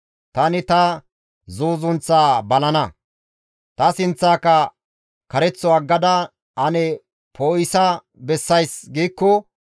Tani ta zuuzunththaa balana; ‹Ta sinththaaka kareththo aggada ane poo7isa bessays› giikko,